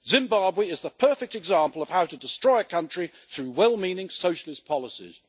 Zimbabwe is the perfect example of how to destroy a country through well meaning socialist policies.